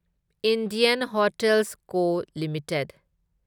Indian Hotels Co limited